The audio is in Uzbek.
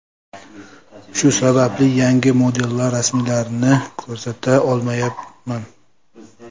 Shu sababli yangi modellar rasmlarini ko‘rsata olmayman.